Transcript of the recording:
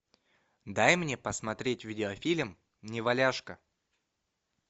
дай мне посмотреть видеофильм неваляшка